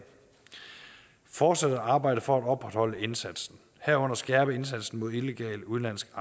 fortsat at arbejde for at opretholde indsatsen herunder skærpe indsatsen mod illegal udenlandsk